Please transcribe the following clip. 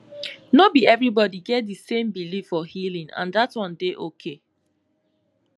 no be everybody get the same belief for healing and that one dey okay